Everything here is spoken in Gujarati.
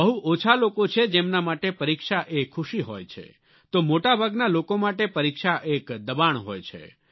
બહુ ઓછા લોકો છે જેમના માટે પરીક્ષા એ ખુશી હોય છે તો મોટાભાગના લોકો માટે પરીક્ષા એક દબાણ હોય છે